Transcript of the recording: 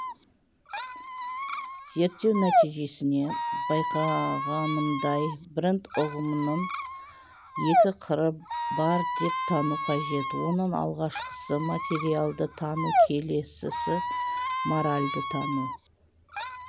зерттеу нәтижесінен байқағанымдай бренд ұғымының екі қыры бар деп тану қажет оның алғашқысы материалды тану келесісі моральды тану